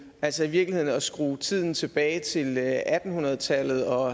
altså i virkeligheden at skrue tiden tilbage til atten hundrede tallet og